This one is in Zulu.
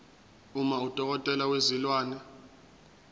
uma udokotela wezilwane